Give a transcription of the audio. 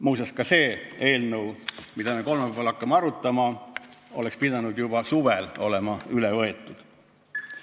Muuseas, ka see eelnõu, mida me kolmapäeval hakkame arutama, oleks pidanud juba suvel olema vastu võetud.